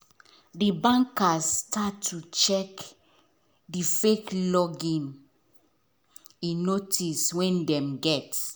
the bankers start to check the fake login in notice wen them get